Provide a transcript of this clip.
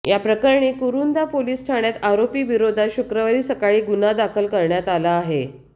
याप्रकरणी कुरूंदा पोलिस ठाण्यात आरोपीविरोधात शुक्रवारी सकाळी गुन्हा दाखल करण्यात आला आहे